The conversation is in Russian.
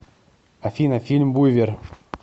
афина фильм буйвер